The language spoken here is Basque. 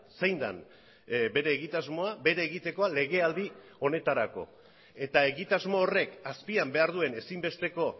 zein den bere egitasmoa bere egitekoa legealdi honetarako eta egitasmo horrek azpian behar duen ezinbesteko